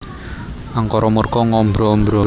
Angkara murka ngombro ombro